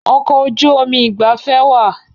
Ọkọ̀ ojú omi ìgbafẹ́ wa